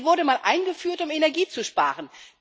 Sie wurde mal eingeführt, um Energie zu sparen.